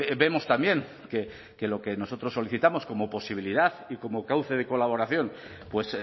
vemos también que lo que nosotros solicitamos como posibilidad y como cauce de colaboración pues